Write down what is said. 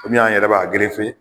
Kɔmi an yɛrɛ b'a